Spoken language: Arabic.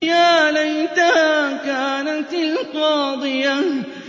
يَا لَيْتَهَا كَانَتِ الْقَاضِيَةَ